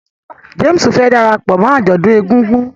James fẹ darapọ̀ mọ ajọdun ègùngùn